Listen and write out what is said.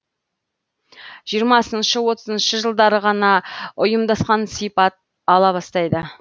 жиырмасыншы отызыншы жылдары ғана ұйымдасқан сипат ала бастайды